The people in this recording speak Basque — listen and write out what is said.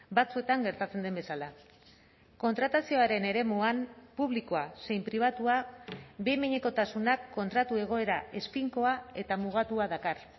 batzuetan gertatzen den bezala kontratazioaren eremuan publikoa zein pribatua behin behinekotasunak kontratu egoera ez finkoa eta mugatua dakar